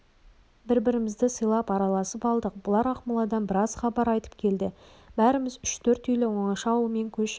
бір-бірімізді сыйлап араласып алдық бұлар ақмоладан біраз хабар айтып келді бәріміз үш-төрт үйлі оңаша ауылмен көшіп